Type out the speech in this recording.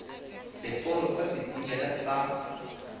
seporo sa setimela sa go